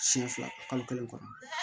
Siɲɛ fila kalo kelen kɔnɔ